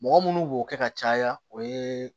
Mɔgɔ munnu b'o kɛ ka caya o ye